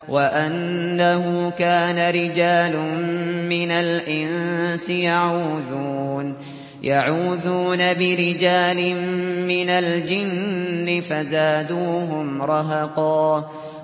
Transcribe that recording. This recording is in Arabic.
وَأَنَّهُ كَانَ رِجَالٌ مِّنَ الْإِنسِ يَعُوذُونَ بِرِجَالٍ مِّنَ الْجِنِّ فَزَادُوهُمْ رَهَقًا